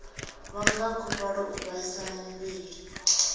vhanga khuvhalo u vhaisa muvhili